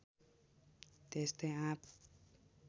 त्यस्तै आँप